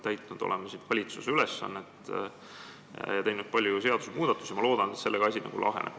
Me oleme täitnud valitsuse ülesannet ja teinud palju seadusmuudatusi – loodan, et sellega asi laheneb.